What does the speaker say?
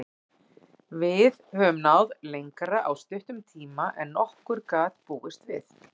Við höfum náð lengra á stuttum tíma en nokkur gat búist við.